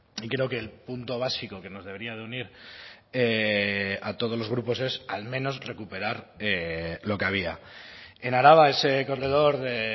y creo que el punto básico que nos debería de unir a todos los grupos es al menos recuperar lo que había en araba ese corredor de